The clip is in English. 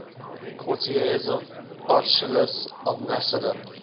courtiers of archelaus of macedon